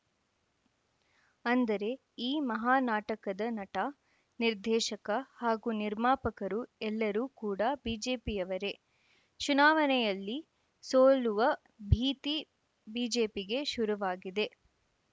ಅಂದರೆ ಈ ಮಹಾನಾಟಕದ ನಟ ನಿರ್ದೇಶಕ ಹಾಗೂ ನಿರ್ಮಾಪಕರು ಎಲ್ಲರೂ ಕೂಡ ಬಿಜೆಪಿಯವರೇ ಚುನಾವಣೆಯಲ್ಲಿ ಸೋಲುವ ಭೀತಿ ಬಿಜೆಪಿಗೆ ಶುರುವಾಗಿದೆ